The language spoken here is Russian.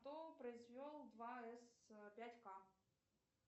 кто произвел два с пять к